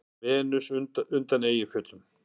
Venus undan Eyjafjöllum.